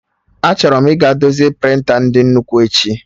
Achọrọ m ịga dozie prịnta ndị nnukwu echi